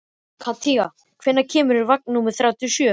Kathinka, hvenær kemur vagn númer þrjátíu og sjö?